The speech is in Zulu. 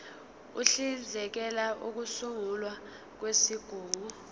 uhlinzekela ukusungulwa kwezigungu